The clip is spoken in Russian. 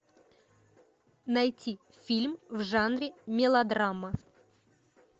найти фильм в жанре мелодрама